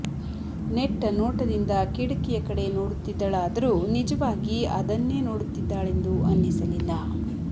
ನೆಟ್ಟ ನೋಟದಿಂದ ಕಿಡಕಿಯ ಕಡೆ ನೋಡುತ್ತಿದ್ದಳಾದರೂ ನಿಜವಾಗಿ ಅದನ್ನೇ ನೋಡುತ್ತಿದ್ದಾಳೆಂದು ಅನ್ನಿಸಲಿಲ್ಲ